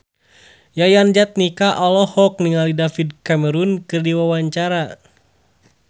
Yayan Jatnika olohok ningali David Cameron keur diwawancara